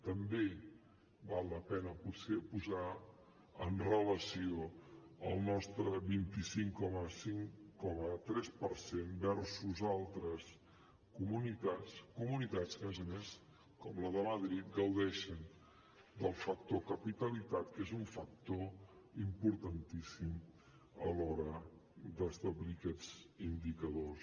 també val la pena potser posar amb relació el nostre vint cinc coma tres per cent versus altres comunitats que a més a més com la de madrid gaudeixen del factor capitalitat que és un factor importantíssim a l’hora d’establir aquests indicadors